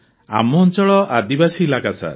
ଆମ ଅଞ୍ଚଳ ଆଦିବାସୀ ଇଲାକା ସାର୍